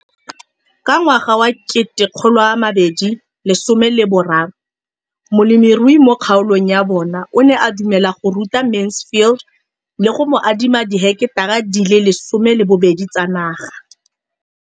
Ka ngwaga wa 2013, molemirui mo kgaolong ya bona o ne a dumela go ruta Mansfield le go mo adima di heketara di le 12 tsa naga.